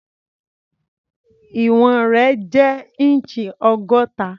Ìwọ̀n rẹ̀ jẹ́ inch ọgọ́ta.